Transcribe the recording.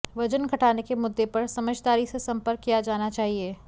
वजन घटाने के मुद्दे पर समझदारी से संपर्क किया जाना चाहिए